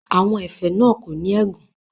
Àwọn ẹ̀fẹ̀ náà kò ní ẹ̀gàn.